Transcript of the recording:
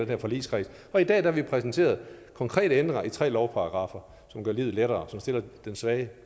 her forligskreds og i dag har vi præsenteret konkrete ændringer i tre lovparagraffer som gør livet lettere og stiller den svagt